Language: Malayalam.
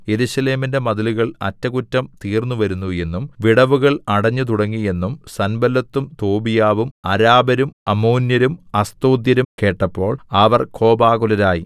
യെരൂശലേമിന്റെ മതിലുകൾ അറ്റകുറ്റം തീർന്നുവരുന്നു എന്നും വിടവുകൾ അടഞ്ഞുതുടങ്ങി എന്നും സൻബല്ലത്തും തോബീയാവും അരാബരും അമ്മോന്യരും അസ്തോദ്യരും കേട്ടപ്പോൾ അവർ കോപാകുലരായി